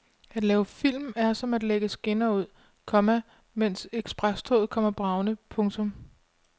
At lave film er som at lægge skinner ud, komma mens eksprestoget kommer bragende. punktum